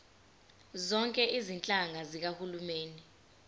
zonke izinhlaka zikahulumeni